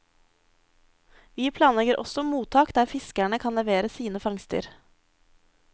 Vi planlegger også mottak der fiskerne kan levere sine fangster.